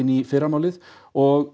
í fyrramálið og